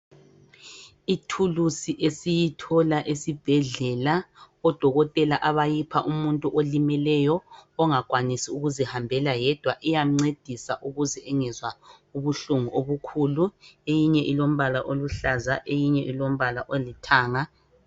Ithulusi esiyithola esibhedlela odokotela abayayipha umuntu olimeleyo ongakwanisi ukuzihambela yedwa iyamncedisa ukuze engezwa ubuhlungu obukhulu. Eyinye ilombala oluhlaza eyinye ilombala olithanga.